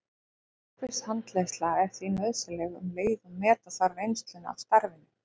Markviss handleiðsla er því nauðsynleg um leið og meta þarf reynsluna af starfinu.